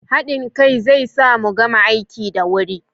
Hadin kai zai sa mu gama aiki da wuri